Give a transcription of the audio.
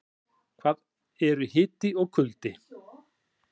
En hvað eru hiti og kuldi?